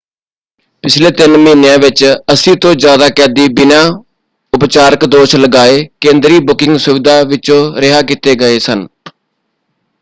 ਪਿਛਲੇ ਤਿੰਨ ਮਹੀਨਿਆਂ ਵਿੱਚ 80 ਤੋਂ ਜ਼ਿਆਦਾ ਕੈਦੀ ਬਿਨਾਂ ਉਪਚਾਰਿਕ ਦੋਸ਼ ਲਗਾਏ ਕੇਂਦਰੀ ਬੁਕਿੰਗ ਸੁਵਿਧਾ ਵਿਚੋਂ ਰਿਹਾਅ ਕੀਤੇ ਗਏ ਸਨ।